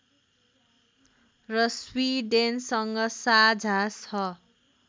र स्विडेनसँग साझा छ